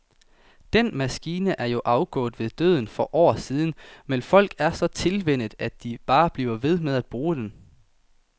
Den maskine er jo afgået ved døden for år siden, men folk er så tilvænnet, at de bare bliver ved med at bruge den.